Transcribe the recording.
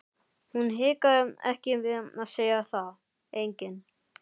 Hún hikaði ekki við að segja það: enginn.